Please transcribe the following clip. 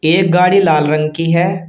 एक गाड़ी लाल रंग की है।